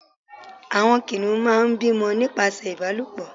àwọn kìnìún má n bímọ nípasẹ ìbálòpọ̀